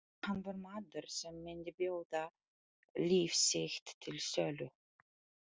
Hann var maður sem myndi bjóða líf sitt til sölu.